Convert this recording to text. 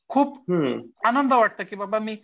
खूप आनंद वाटतं की बाबा मी